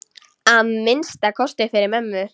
Að minnsta kosti fyrir mömmu.